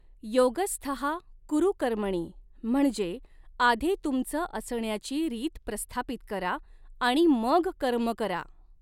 योगस्थः कुरु कर्मणी म्हणजे आधी तुमचं असण्याची रीत प्रस्थापित करा आणि मग कर्म करा.